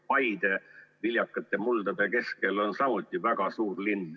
Paide viljakate muldade keskel on samuti väga suur linn.